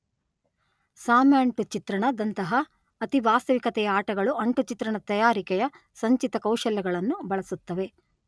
ಸಾಮ್ಯ ಅಂಟು ಚಿತ್ರಣದಂತಹ ಅತಿ ವಾಸ್ತವಿಕತೆಯ ಆಟಗಳು ಅಂಟು ಚಿತ್ರಣ ತಯಾರಿಕೆಯ ಸಂಚಿತ ಕೌಶಲ್ಯಗಳನ್ನು ಬಳಸುತ್ತವೆ.